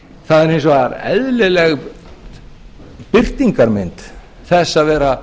það er hins vegar eðlileg birtingarmynd þess að vera